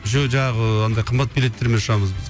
еще жаңағы андай қымбат билеттермен ұшамыз біз